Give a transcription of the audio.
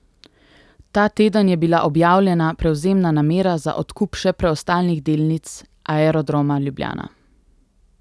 Ta teden je bila objavljena prevzemna namera za odkup še preostalih delnic Aerodroma Ljubljana.